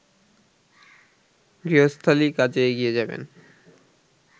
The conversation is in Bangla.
গৃহস্থালি কাজে এগিয়ে যাবেন